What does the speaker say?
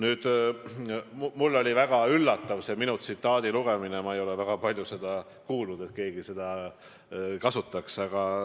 Aga mulle oli väga üllatav selle minu tsitaadi ettelugemine, ma ei ole väga palju kuulnud, et keegi seda kasutaks.